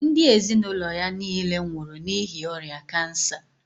Ndị ezinụlọ ya niile nwụrụ n'ihi ọrịa cancer.